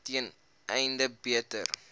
ten einde beter